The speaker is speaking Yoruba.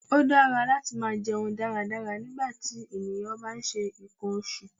Ó dára láti máa jẹun dáradára nígbàtí ènìyàn bá ń ṣe nǹkan oṣù.